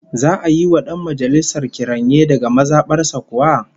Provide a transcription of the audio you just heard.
Za'a yi wa dan majalisar kiranye daga maza bar sa kuwa?